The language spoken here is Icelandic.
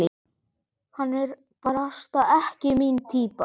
Hann er barasta ekki mín týpa.